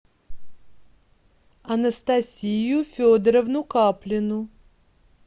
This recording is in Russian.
анастасию федоровну каплину